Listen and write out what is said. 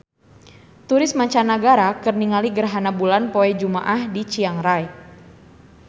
Turis mancanagara keur ningali gerhana bulan poe Jumaah di Chiang Rai